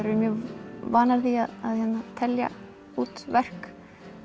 eru mjög vanar því að telja út verk